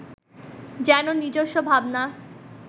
যেন নিজস্ব ভাবনা